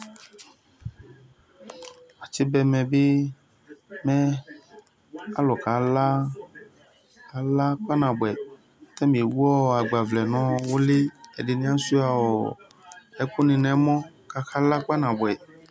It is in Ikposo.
Atsi ba ɛmɛ bi mɛ akʋkala kpaa nabʋɛ ɛdi ewʋ agbavlɛ nʋ uli ɛdini asuia ɛkʋni nʋ ɛmɔ kʋ akala kpa nabʋɛ